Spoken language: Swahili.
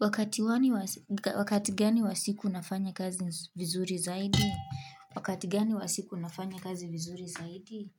Wakati gani wa siku nafanya kazi vizuri zaidi? Wakati gani wa siku nafanya kazi vizuri zaidi?